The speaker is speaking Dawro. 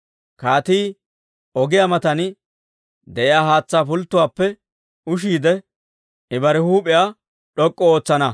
Kaatii ogiyaa matan de'iyaa haatsaa pulttuwaappe ushiide, I bare huup'iyaa d'ok'k'u ootsana.